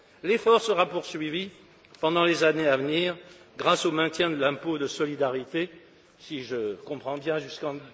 L'effort sera poursuivi pendant les années à venir grâce au maintien de l'impôt de solidarité si je comprends bien, jusqu'en